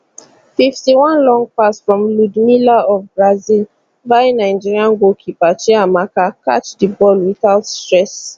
fifty one long pass from ludmila of brazil buy nigeria goalkeeper chiamaka catch di ball without stress